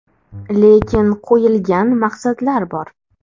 Lekin qo‘yilgan maqsadlar bor.